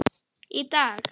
Í dag.